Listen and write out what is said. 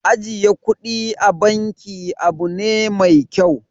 Ajiye kuɗi a banki abu ne mai kyau.